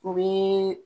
U bɛ